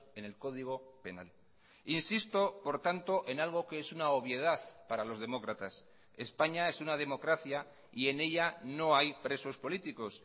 en el código penal insisto por tanto en algo que es una obviedad para los demócratas españa es una democracia y en ella no hay presos políticos